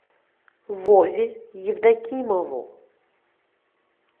вове евдокимову